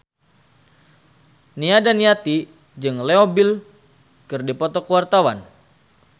Nia Daniati jeung Leo Bill keur dipoto ku wartawan